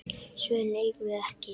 Svörin eigum við ekki.